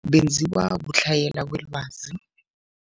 Benziwa kutlhayela kwelwazi.